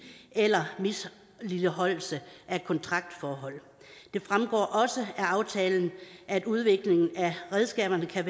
eller misligholdelse af kontraktforhold det fremgår også af aftalen at udviklingen af redskaberne kan